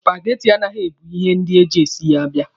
Supageti anaghị ebu ihe ndị e ji e si ya abịa